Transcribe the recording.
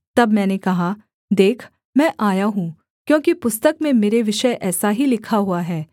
तब मैंने कहा देख मैं आया हूँ क्योंकि पुस्तक में मेरे विषय ऐसा ही लिखा हुआ है